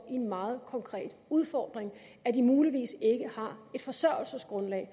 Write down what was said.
en meget konkret udfordring at de muligvis ikke har et forsørgelsesgrundlag